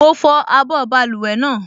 Mo fọ abọ́ báluwẹ̀ náà